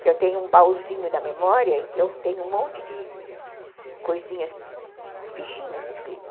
Que eu tenho um baúzinho da memória em que eu tenho um monte de coisinhas, fichinhas escritas.